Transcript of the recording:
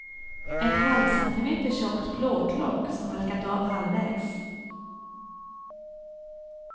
Ett halvcentimeter tjockt plåtlock som halkat av halvvägs.